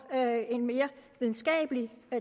en mere videnskabelig